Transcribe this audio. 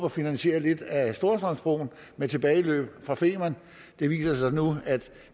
at finansiere lidt af storstrømsbroen med tilbageløb fra femern det viser sig nu at